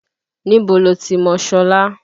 Níbo lo ti mọ Ṣọlá?